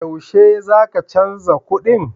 Yaushe za ka canza kuɗin?